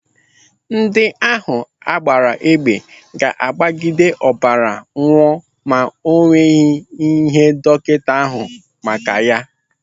Ndị ahụ agbaara egbe ga-agbagide ọbara nwụọ ma o nweghị ike dọkịta ahụ maka ya.